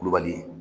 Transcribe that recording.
Kulubali